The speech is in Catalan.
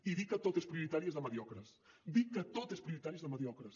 i dir que tot és prioritari és de mediocres dir que tot és prioritari és de mediocres